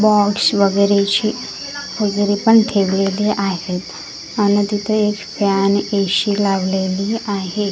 Box वगैरे अशी तिजोरी पण ठेवलेले आहेत आणि तिथं एक फॅन ए_शी लावलेली आहे.